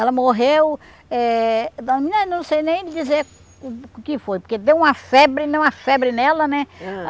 Ela morreu... É... Eu não sei nem dizer o que foi, porque deu uma febre, deu uma febre nela, né? Ãh